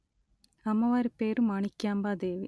అమ్మవారి పేరు మాణిక్యాంబా దేవి